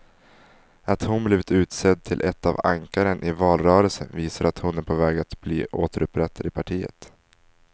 Att hon blivit utsedd till ett av ankaren i valrörelsen visar att hon är på väg att bli återupprättad i partiet.